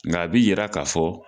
Nka a bi jira k'a fɔ.